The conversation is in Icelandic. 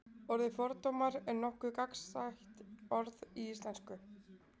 orðið fordómar er nokkuð gagnsætt orð í íslensku